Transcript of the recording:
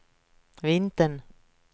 vintern